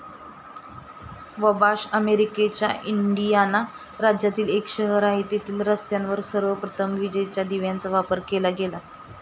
Wabash अमेरिकेच्या Indiana राज्यातील एक शहर आहे. येथील रस्त्यांवर सर्वप्रथम विजेच्या दिव्यांचा वापर केला गेला.